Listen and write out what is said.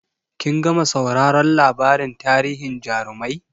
Kin gama sauraron labarin tarihin jarumai?